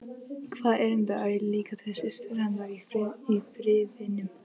Hvaða erindi á ég líka til systur hennar í Firðinum?